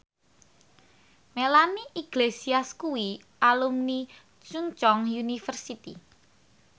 Melanie Iglesias kuwi alumni Chungceong University